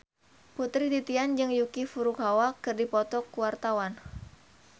Putri Titian jeung Yuki Furukawa keur dipoto ku wartawan